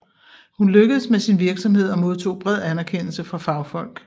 Hun lykkedes med sin virksomhed og modtog bred anerkendelse fra fagfolk